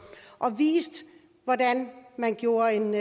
og viste hvordan man gjorde en